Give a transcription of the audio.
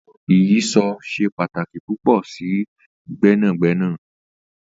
Ìyíṣòó ṣe pataki pupọ si gbẹnagbẹna.